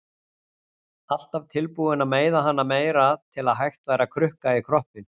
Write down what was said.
Alltaf tilbúin að meiða hana meira til að hægt væri að krukka í kroppinn.